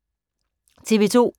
TV 2